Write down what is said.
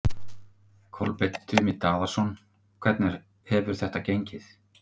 Kolbeinn Tumi Daðason: Hvernig hefur þetta gengið?